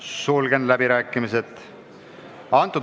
Sulgen läbirääkimised.